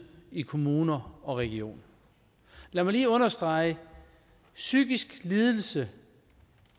i kommuner og regioner lad mig lige understrege psykisk lidelse